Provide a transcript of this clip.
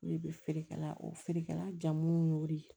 O de bɛ feere kɛla o feerekɛla jamuw y'o de ye